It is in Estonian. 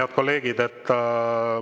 Head kolleegid!